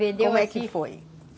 Como é que foi?